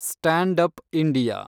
stand up India